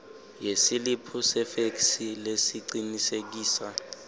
yesiliphu sefeksi lesicinisekisa